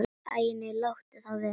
Æ nei, láttu það vera.